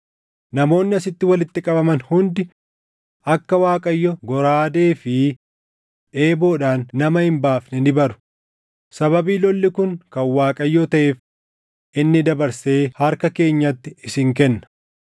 Namoonni asitti walitti qabaman hundi akka Waaqayyo goraadee fi eeboodhaan nama hin baafne ni baru; sababii lolli kun kan Waaqayyoo taʼeef inni dabarsee harka keenyatti isin kenna.”